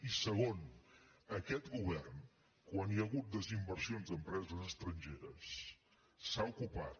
i segon aquest govern quan hi ha hagut desinversions d’empreses estrangeres s’ha ocupat